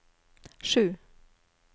sju